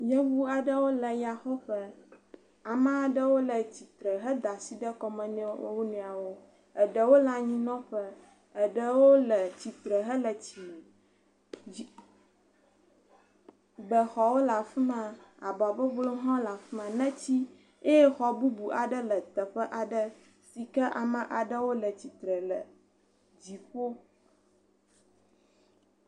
Nyɔnu aɖewo le yaxɔƒe. Ame aɖewo le tsi tre head asi ɖe kɔme na wo nɔewo. Eɖewo le anyinɔƒe, eɖewo le tsi tre hele tsime. Dzi, bexɔwo le afi ma. Aba bɔbɔewo hã le afi ma, neti. Eye xɔ bubu aɖe le teƒe aɖe si ke ame aɖewo le atsi tre le dziƒo.